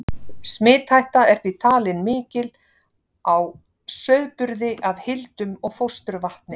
Smithætta er því talin mikil á sauðburði af hildum og fósturvatni.